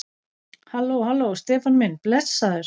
Halló. halló, Stefán minn. blessaður.